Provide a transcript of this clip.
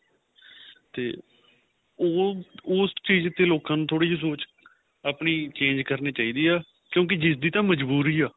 ਤੇ ਉਹ ਉਸ ਚੀਜ ਤੇ ਲੋਕਾਂ ਨੂੰ ਥੋੜੀ ਜੀ ਸੋਚ ਆਪਣੀ change ਕਰਨੀ ਚਾਹੀਦੀ ਏ ਕਿਉਂਕਿ ਜਿਸਦੀ ਦੀ ਤਾਂ ਮਜ਼ਬੂਰੀ ਆਂ